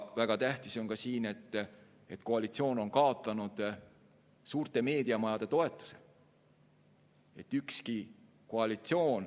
Väga tähtis on ka see, et koalitsioon on kaotanud suurte meediamajade toetuse.